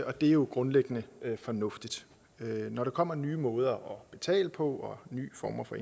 og det er jo grundlæggende fornuftigt når der kommer nye måder at betale på og nye former for